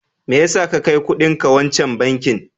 Me ya sa ka kai kudinka wancan bankin?